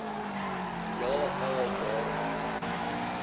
ja a waarom